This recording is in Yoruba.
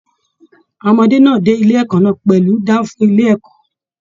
Àwọn ọmọdé náà dé ilé ẹ̀kọ́ náà pẹlu danfo ilé ẹ̀kọ́.